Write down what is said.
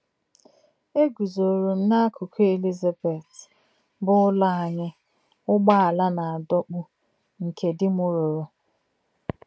E guzoro m n’akụkụ “ Elizabeth, ” bụ́ ụlọ anyị ụgbọala na-adọkpụ nke di m rụrụ